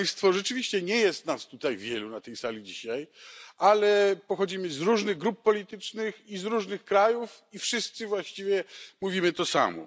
Rzeczywiście nie jest nas tutaj dzisiaj wielu na tej sali, ale pochodzimy z różnych grup politycznych i z różnych krajów, i wszyscy właściwie mówimy to samo.